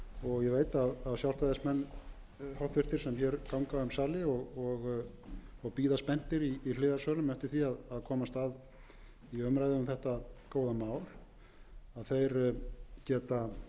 og ég veit að háttvirtur sjálfstæðismenn sem hér ganga um sali og bíða spenntir í hliðarsölum eftir því að komast að í umræðu um þetta góða mál hafa þegar kynnt sér og